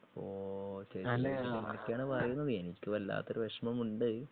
ഓ ഓ ഓ അങ്ങനെയൊക്കയാണ് പറയുന്നത്. എനിക്ക് വല്ലാത്തൊരു വിഷമമുണ്ട്